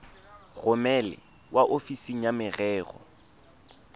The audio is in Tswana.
romele kwa ofising ya merero